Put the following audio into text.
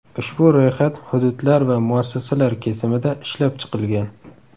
Ushbu ro‘yxat hududlar va muassasalar kesimida ishlab chiqilgan.